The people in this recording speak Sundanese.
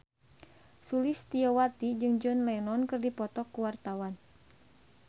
Sulistyowati jeung John Lennon keur dipoto ku wartawan